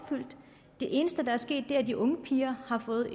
det eneste der er sket er at de unge piger har fået